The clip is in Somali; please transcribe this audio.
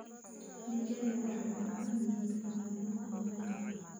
Digaagga waxay u baahan yihiin ka ilaalin cayayaanka.